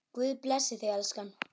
Guð blessi þig, elskan.